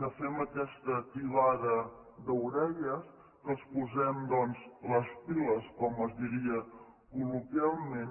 que fem aquesta tibada d’orelles que els posem doncs les piles com es diria col·loquialment